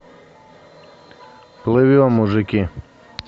плывем мужики